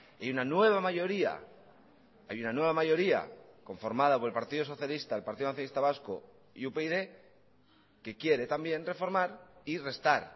y una nueva mayoría hay una nueva mayoría conformada por el partido socialista el partido nacionalista vasco y upyd que quiere también reformar y restar